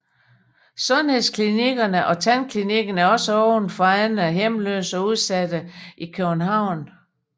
Sundhedsklinikkerne og tandklinikken er også åben for andre hjemløse og udsatte i København